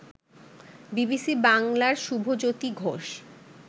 BBC বাংলার শুভজ্যোতি ঘোষ